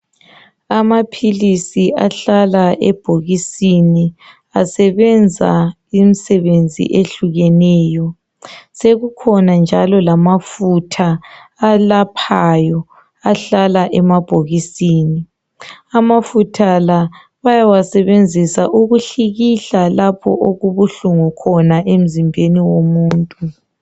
Amaphilisi ahlala ebhokisini asebenza imisebenzi ehlukeneyo. Sekukhona njalo lamafutha alaphayo ahlala emabhokisini. Amafutha la bayawasebenzisa ukuhlikihla lapho okubuhlungu khona emzimbeni womuntu